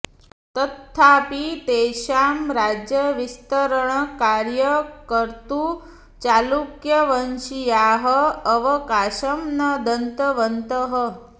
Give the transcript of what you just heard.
तत्थापि तेषां राज्यविस्तरणकार्यं कर्तुं चालुक्यवंशीयाः अवकाशं न दत्तवन्तः